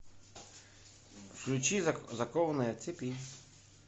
включи закованная в цепи